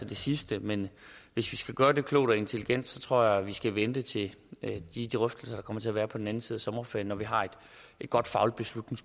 det sidste men hvis vi skal gøre det klogt og intelligent tror jeg vi skal vente til de drøftelser der kommer til at være på den anden side af sommerferien når vi har et godt fagligt